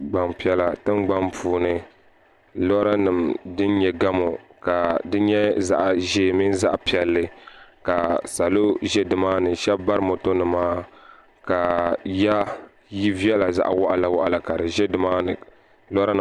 Gban piɛla tin gbani puuni. lɔra nim din nyɛ gamu ka di nyɛ zaɣiʒɛɛ mini zaɣipiɛli ka saɔlɔ ʒɛ nimaani shabi bari mɔto nima, ka ya yili vela zaɣi waɣila waɣila ka di ʒɛ dini maani